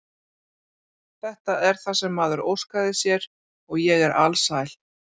Þetta er það sem maður óskaði sér og ég er alsæl.